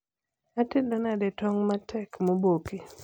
atedo nade tong matek moboki